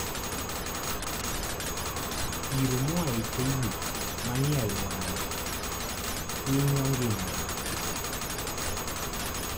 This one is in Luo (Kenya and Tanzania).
Iro moa e teyini manie alworano hinyo ngima dhano.